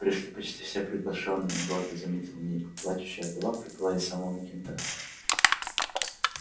пришли почти все приглашённые гордо заметил ник плачущая вдова прибыла из самого кента